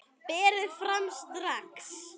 Berið fram strax.